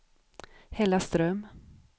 Hällaström